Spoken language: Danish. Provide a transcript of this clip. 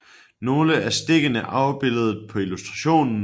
Se nogle af stikkene afbildet på illustrationen